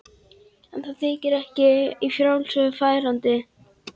En það þykir ekki í frásögur færandi.